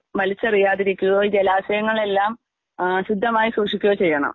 വലിച്ചെറിയാതെ ഇരിക്കുകയോ ജലാശയങ്ങളെല്ലാം ആഹ് ശുദ്ധമായി സൂക്ഷിക്കുകയോ ചെയ്യണം.